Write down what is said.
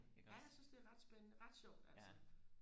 ja jeg synes det er ret spændende ret sjovt altså